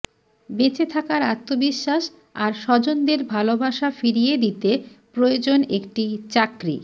বেঁচে থাকার আত্মবিশ্বাস আর স্বজনদের ভালোবাসা ফিরিয়ে দিতে প্রয়োজন একটি চাকরি